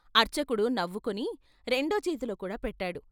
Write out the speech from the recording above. అర్చకుడు నవ్వుకుని రెండో చేతిలో కూడా పెట్టాడు.